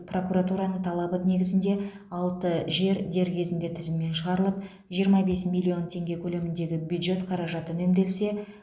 прокуратураның талабы негізінде алты жер дер кезінде тізімнен шығарылып жиырма бес миллион теңге көлеміндегі бюджет қаражаты үнемделсе